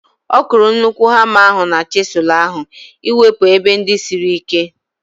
Ọ kụrụ nnukwu hama ahu na chisụl ahu iwepu ebe ndị siri ike